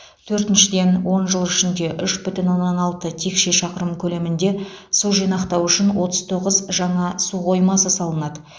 төртіншіден он жыл ішінде үш бүтін оннан алты текше шақырым көлемінде су жинақтау үшін отыз тоғыз жаңа су қоймасы салынады